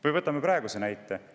Või võtame praeguse näite.